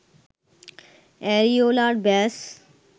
areolar ব্যাস